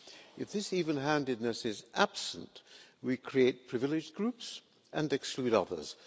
If this even handedness is absent, we create privileged groups and exclude others.